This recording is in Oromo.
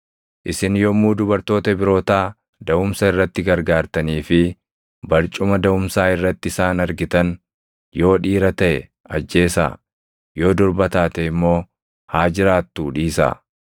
“Isin yommuu dubartoota Ibrootaa daʼumsa irratti gargaartanii fi barcuma daʼumsaa irratti isaan argitan, yoo dhiira taʼe ajjeesaa; yoo durba taate immoo haa jiraattuu dhiisaa.”